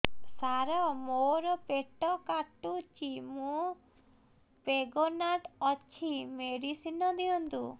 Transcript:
ସାର ମୋର ପେଟ କାଟୁଚି ମୁ ପ୍ରେଗନାଂଟ ଅଛି ମେଡିସିନ ଦିଅନ୍ତୁ